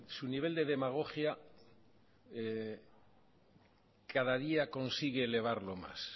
su nivel de demagogia cada día consigue elevarlo más